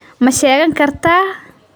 Ma shaqayn kartaa?